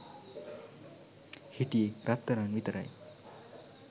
හිටියේ රත්තරං විතරයි.